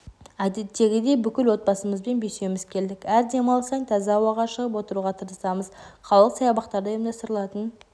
әдеттегідей бүкіл отбасымызбен бесеуіміз келдік әр демалыс сайын таза ауаға шығып отыруға тырысамыз қалалық саябақтарда ұйымдастырылатын